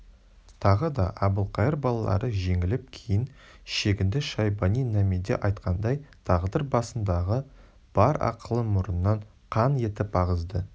тағы да әбілқайыр балалары жеңіліп кейін шегінді шайбани-намедеайтқандай тағдыр басындағы бар ақылын мұрнынан қан етіп ағызды